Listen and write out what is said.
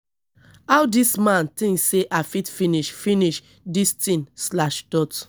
how dis man think say i fit finish finish dis thing slash dot